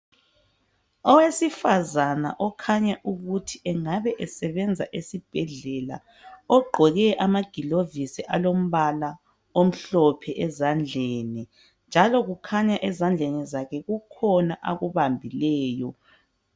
Owesifazana okhanya ukuthi engabe esebenza esibhedlela ogcoke ama gloves alombala omhlophe ezandleni njalo kukhanya ezandleni zakhe kukhona akubambileyo.